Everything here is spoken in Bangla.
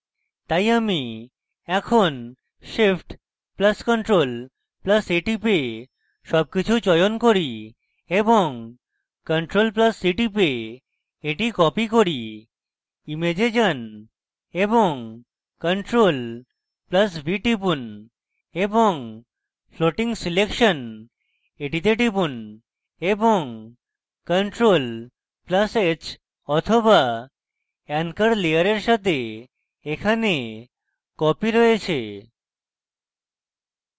তাই আমি এখন shift + ctrl + a টিপে সবকিছু চয়ন করি এবং ctrl + c টিপে এটি copy করি image যান এবং ctrl + v টিপুন এবং floating selection a টিপুন এবং ctrl + h so anchor layer সাথে এখানে copy রয়েছে